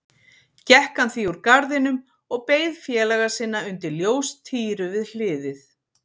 Gekk hann því úr garðinum og beið félaga sinna undir ljóstíru við hliðið.